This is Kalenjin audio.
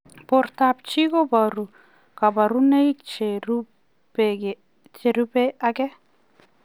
Portoop chitoo kobaruu kabarunaik cherubei ak